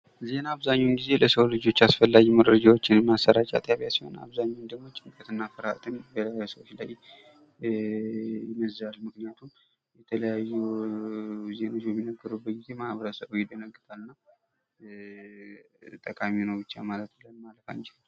ዜና አብዛኛውን ጊዜ ለሰው ልጆች አስፈላጊ መረጃዎችን ማሰራጫ ጣቢያ ሲሆን አብዛኛውን ጊዜ ደግሞ በሰዎች ላይ ጭንቀትና ፍርሃትን በሰዎች ላይ ይመዛል ይህ በሚነገርበት ጊዜ ማህበረሰቡ ይደነግጣልና ጠቃሚ ነው ብቻ ማለት አንችልም።